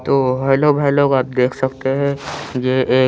तो का देख सकते हैं ये एक--